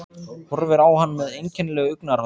Horfir á hann með einkennilegu augnaráði.